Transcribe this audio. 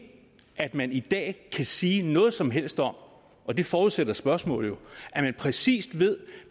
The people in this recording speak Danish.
at man i dag kan sige noget som helst om og det forudsætter spørgsmålet jo at man præcis ved